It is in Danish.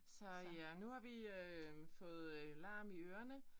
Så ja nu har vi øh fået larm i ørene